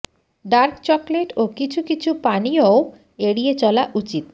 dark chocolate ও কিছু কিছু পানীয়ও এড়িয়ে চলা উচিত